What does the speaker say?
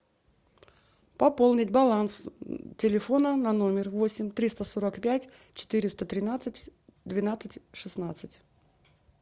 пополнить баланс телефона на номер восемь триста сорок пять четыреста тринадцать двенадцать шестнадцать